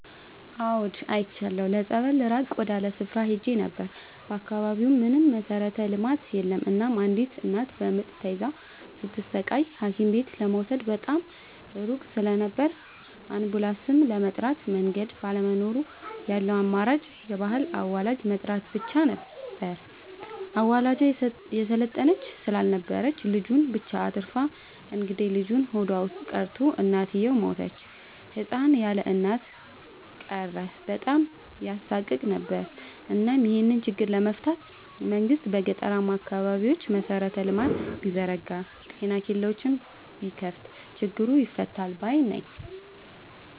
አዎድ አይቻለሁ ለፀበል ራቅ ወዳለ ስፍራ ሄጄ ነበር። በአካባቢው ምንም መሠረተ ልማት የለም እናም አንዲት እናት በምጥ ተይዛ ስትሰቃይ ሀኪምቤት ለመውሰድ በጣም ሩቅ ስለነበር አንቡላስም ለመጥራት መንገድ ባለመኖሩ ያለው አማራጭ የባህል አዋላጅ መጥራት ብቻ ነበር። አዋላጇ የሰለጠነች ስላልነበረች ልጁን ብቻ አትርፋ እንግዴልጁ ሆዷ ውስጥ ቀርቶ እናትየው ሞተች ህፃን ያለእናት ቀረ በጣም ያሳቅቅ ነበር እናም ይሄን ችግር ለመፍታት መንግስት በገጠራማ አካባቢዎች መሰረተ ልማት ቢዘረጋ ጤና ኬላዎችን ቢከፋት ችግሩ ይፈታል ባይነኝ።